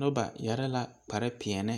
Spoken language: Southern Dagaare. Noba yɛre la kpare pɛɛle